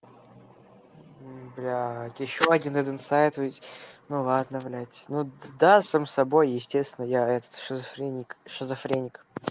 блядь ещё один этот сайт ведь ну ладно блядь ну да сам с собой естественно я этот шизофреник шизофреник